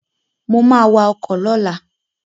Mo ma wa ọkọ̀ lọ́la